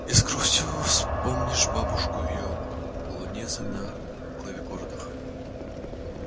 и с грустью вспомнишь бабушку её полонезы на клавикордах